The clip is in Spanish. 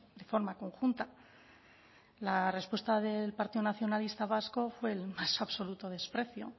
de forma conjunta la respuesta del partido nacionalista vasco fue el más absoluto desprecio